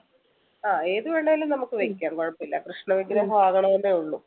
ഏത് വേണേലും നമ്മുക്ക് വെക്കാം കുഴപ്പമില്ല കൃഷ്ണ വിഗ്രഹ മാവണം എന്നൊള്ളു